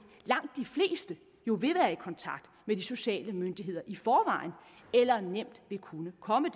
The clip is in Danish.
langt de fleste jo vil være i kontakt med de sociale myndigheder i forvejen eller nemt vil kunne komme